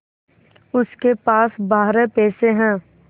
उसके पास बारह पैसे हैं